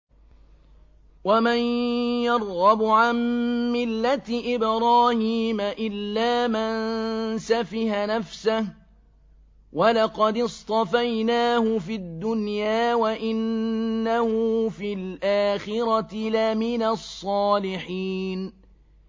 وَمَن يَرْغَبُ عَن مِّلَّةِ إِبْرَاهِيمَ إِلَّا مَن سَفِهَ نَفْسَهُ ۚ وَلَقَدِ اصْطَفَيْنَاهُ فِي الدُّنْيَا ۖ وَإِنَّهُ فِي الْآخِرَةِ لَمِنَ الصَّالِحِينَ